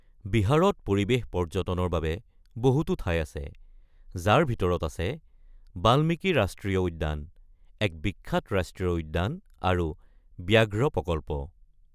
বিহাৰত পৰিৱেশ পৰ্যটনৰ বাবে বহুতো ঠাই আছে, যাৰ ভিতৰত আছে বাল্মীকি ৰাষ্ট্ৰীয় উদ্যান, এক বিখ্যাত ৰাষ্ট্ৰীয় উদ্যান আৰু ব্যাঘ্ৰ প্ৰকল্প।